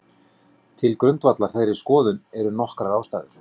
Til grundvallar þeirri skoðun eru nokkrar ástæður.